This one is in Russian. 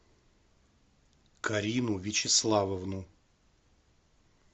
карину вячеславовну